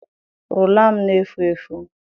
Rula m na-efu efu.